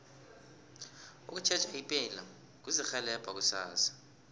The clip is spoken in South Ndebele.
ukutjheja ipilo kuzirhelebha kusasa